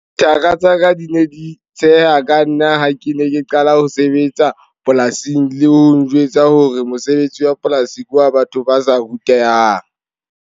Thaka tsa ka di ne di tsheha ka nna ha ke ne ke qala ho sebetsa polasing le ho njwetsa hore mosebetsi wa polasi ke wa batho ba sa rutehang.